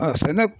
sɛnɛ